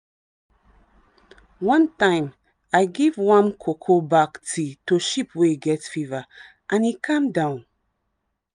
one time i give warm cocoa bark tea to sheep wey get fever and e calm down.